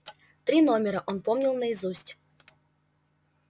три номера он помнил наизусть